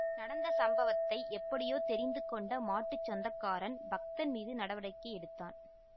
நடந்த சம்பவத்தை எப்படியோ தெரிந்து கொண்ட மாட்டு சொந்தக்காரன் பக்தன் மீது நடவடிக்கை எடுத்தான்